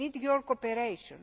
We need your cooperation.